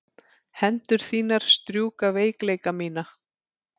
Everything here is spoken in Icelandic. Hendur þínar strjúka veikleika mína.